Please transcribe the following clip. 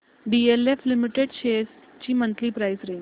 DLF limited shares ची monthly price range